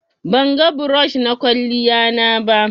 bangan brush na kwaliyan na ba